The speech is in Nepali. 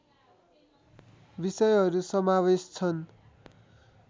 विषयहरू समावेश छन्